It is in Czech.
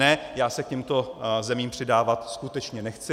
Ne, já se k těmto zemím přidávat skutečně nechci.